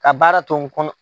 Ka baara to n kɔnɔ